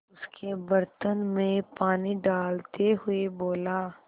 उसके बर्तन में पानी डालते हुए बोला